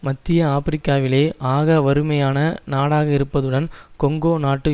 மத்திய ஆபிரிக்காவிலே ஆக வறுமையான நாடாக இருப்பதுடன் கொங்கொ நாட்டு